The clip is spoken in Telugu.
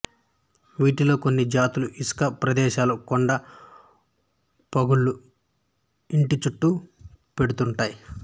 వీటిలో కొన్ని జాతులు ఇసుక ప్రదేశాలు కొండ పగుళ్ళుఇంటి చుట్టూ పెడుతుంటాయి